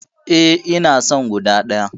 Eh, ina son guda ɗaya.